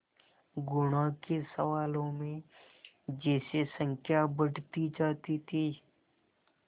गुणा के सवालों में जैसे संख्या बढ़ती जाती थी